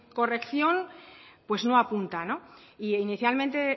corrección no apunta no e inicialmente